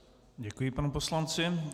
Děkuji panu poslanci.